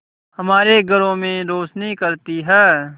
हमारे घरों में रोशनी करती है